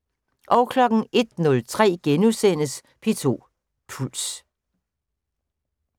01:03: P2 Puls *